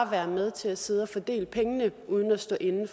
være med til at sidde og fordele pengene uden at stå inde